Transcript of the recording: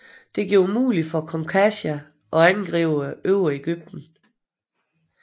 Det gjorde det muligt for kong Kasha at angribe Øvre Egypten